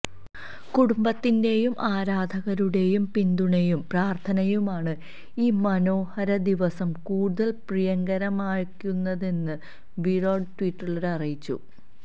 കുടുംബത്തിന്റെയും ആരാധകരുടെയും പിന്തുണയും പ്രാർത്ഥനയുമാണ് ഈ മനോഹരദിവസം കൂടുതൽ പ്രിയങ്കരമാകുന്നതെന്ന് വിരാട് ട്വീറ്റിലൂടെ അറിയിച്ചു